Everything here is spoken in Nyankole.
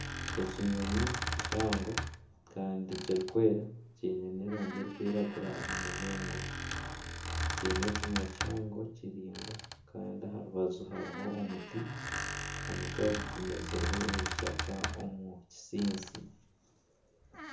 Ekinyonyi kihango kandi kirikwera kyiine n'erangi erikwiragura aha mugongo kyiine ekinwa kihango kiraingwa kandi aha rubaju hariho omuti, omuti ogu gumezirwe ebishaka omu kisintsi.